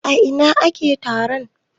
A ina ake taron?